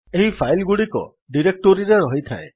ଏହି ଫାଇଲ୍ ଗୁଡିକ ଡିରେକ୍ଟୋରୀରେ ରହିଥାଏ